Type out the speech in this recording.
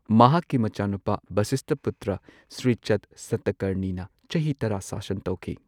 ꯃꯍꯥꯛꯀꯤ ꯃꯆꯥꯅꯨꯄꯥ ꯚꯁꯤꯁꯊꯄꯨꯇ꯭ꯔ ꯁ꯭ꯔꯤ ꯆꯙ ꯁꯇꯀꯔꯅꯤꯅ ꯆꯍꯤ ꯇꯔꯥ ꯁꯥꯁꯟ ꯇꯧꯈꯤ꯫